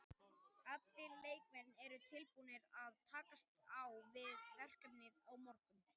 Allir leikmenn eru tilbúnir til að takast á við verkefnið á morgun.